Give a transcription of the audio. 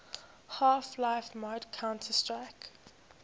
half life mod counter strike